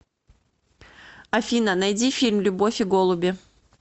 афина найди фильм любовь и голуби